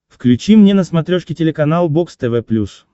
включи мне на смотрешке телеканал бокс тв плюс